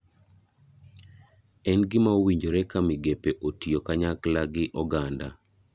En gima owinjore ka migepe otiyo kanyakla gi oganda,